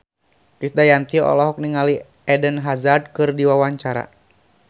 Krisdayanti olohok ningali Eden Hazard keur diwawancara